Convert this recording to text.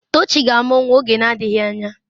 Tochi ga-amụ nwa oge na-adịghị anya.